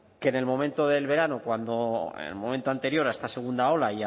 que en el momento del verano cuando el momento anterior a esta segunda ola